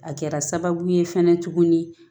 A kɛra sababu ye fɛnɛ tuguni